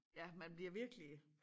Ja man bliver virkelig